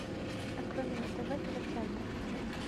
открой мне на тв тв центр